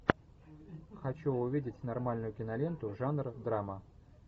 хочу увидеть нормальную киноленту жанр драма